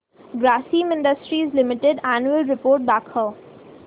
Grasim industries limited annual report दाखव